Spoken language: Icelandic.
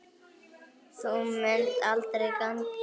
Þú munt aldrei ganga einn.